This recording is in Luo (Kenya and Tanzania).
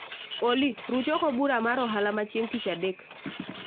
Olly, ruch oko bura mar ohala ma chieng' tich adek